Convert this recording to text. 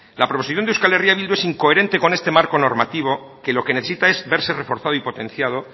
la proposición de euskal herria bildu es incoherente con este marco normativo que lo que necesita es verse reforzado y potenciado